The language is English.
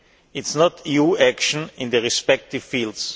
It is not EU action in the respective fields.